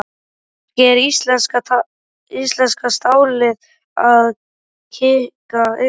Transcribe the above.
Kannski er íslenska stálið að kikka inn?